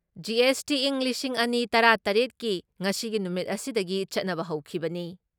GST ꯏꯪ ꯂꯤꯁꯤꯡ ꯑꯅꯤ ꯇꯔꯥ ꯇꯔꯦꯠ ꯀꯤ ꯉꯁꯤꯒꯤ ꯅꯨꯃꯤꯠ ꯑꯁꯤꯗꯒꯤ ꯆꯠꯅꯕ ꯍꯧꯈꯤꯕꯅꯤ ꯫